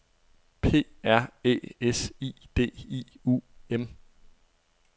P R Æ S I D I U M